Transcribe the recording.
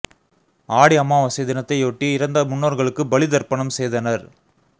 ஆடி அமாவாசை தினத்தை யொட்டி இறந்த முன்னோர்களுக்கு பலி தர்ப்பணம் செய்தனர்